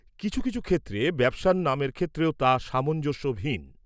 কিছু কিছু ক্ষেত্রে ব্যবসার নামের ক্ষেত্রেও তা সামঞ্জস্যহীন।